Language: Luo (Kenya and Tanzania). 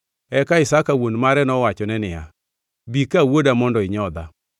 Eka Isaka wuon mare nowachone niya, “Bi ka wuoda mondo inyodha.”